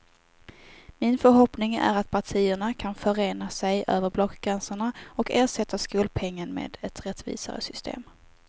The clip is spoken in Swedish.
Min förhoppning är att partierna kan förena sig över blockgränserna och ersätta skolpengen med ett rättvisare system.